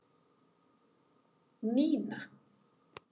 Nína